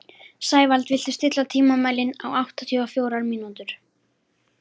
Sævald, stilltu tímamælinn á áttatíu og fjórar mínútur.